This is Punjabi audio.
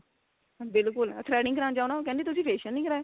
ਬਿਲਕੁਲ threading ਕਰਾਉਣ ਜਾਓ ਨਾ ਉਹ ਕਹਿੰਦੇ ਤੁਸੀਂ facial ਨੀ ਕਰਵਾਇਆ